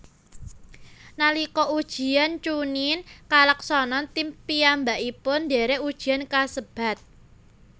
Nalika ujian chuunin kalaksanan tim piyambakipun ndherek ujian kasebat